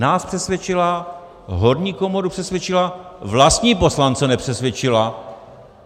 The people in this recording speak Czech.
Nás přesvědčila, horní komoru přesvědčila - vlastní poslance nepřesvědčila.